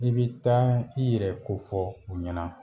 I be taa i yɛrɛ kofɔ u ɲɛna